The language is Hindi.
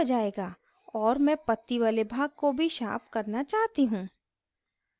और मैं पत्ती वाले भाग को भी sharpen करना चाहती हूँ